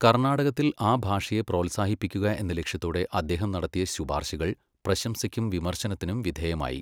കർണാടകത്തിൽ ആ ഭാഷയെ പ്രോത്സാഹിപ്പിക്കുക എന്ന ലക്ഷ്യത്തോടെ അദ്ദേഹം നടത്തിയ ശുപാർശകൾ പ്രശംസയ്ക്കും വിമർശനത്തിനും വിധേയമായി.